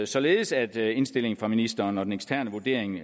således at indstillingen fra ministeren og den eksterne vurdering